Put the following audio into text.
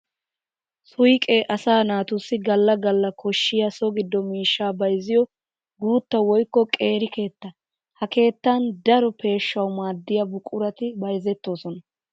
Suyqe asaa naatussi gala gala koshiya so gido miishsha bayzziyo guutta woykko qeeri keetta. Ha keettan daro peeshawu maadiya buquratti bayzzettosonna.